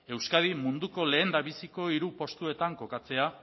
euskadi munduko lehendabiziko hiru postuetan kokatzea